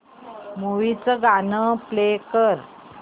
movie चं गाणं play कर